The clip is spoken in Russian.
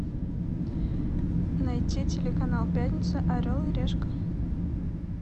найти телеканал пятница орел и решка